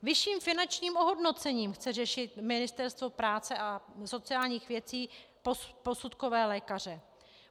Vyšším finančním ohodnocením chce řešit Ministerstvo práce a sociálních věcí posudkové lékaře.